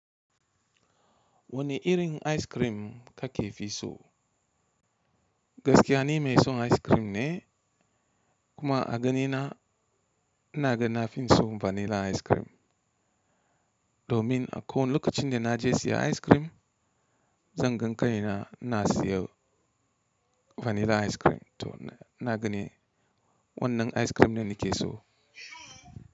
Wani irin ice cream ka ke fi so? Gaskiya ni mai son ice cream ne, kuma a gani na, ina ga na fi son vanilla ice cream. Domin a kowi lokacin da na je siya ice cream, zan ga kaina, ina siyan vanilla ice cream to ina gani wannan ice cream ne da nake so.